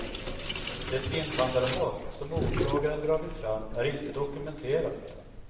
Det invandrarhat som åklagaren dragit fram är inte dokumenterat.